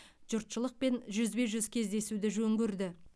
жұртшылықпен жүзбе жүз кездесуді жөн көрді